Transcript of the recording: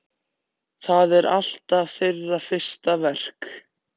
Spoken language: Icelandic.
Það er alltaf þeirra fyrsta verk.